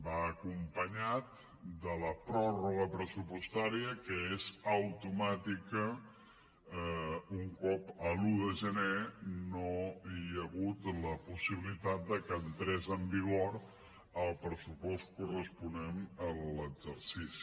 va acompanyat de la pròrroga pressupostària que és automàtica un cop l’un de gener no hi ha hagut la possibilitat de que entrés en vigor el pressupost corresponent a l’exercici